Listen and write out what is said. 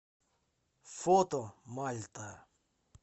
фото мальта